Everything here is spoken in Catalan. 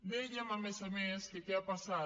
dèiem a més a més que què ha passat